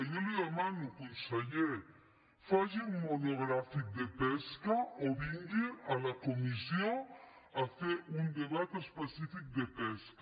jo li ho demano conseller faci un monogrà·fic de pesca o vingui a la comissió a fer un debat es·pecífic de pesca